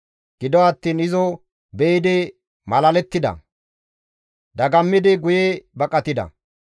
Gido attiin izo be7idi malalettida; dagammidi guye baqatida.